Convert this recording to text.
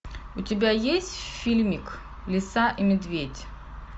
у тебя есть фильмик лиса и медведь